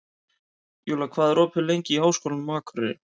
Júlla, hvað er opið lengi í Háskólanum á Akureyri?